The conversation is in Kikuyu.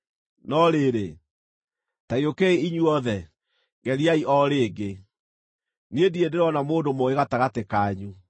“No rĩrĩ, ta gĩũkei inyuothe, geriai o rĩngĩ! Niĩ ndirĩ ndĩrona mũndũ mũũgĩ gatagatĩ kanyu.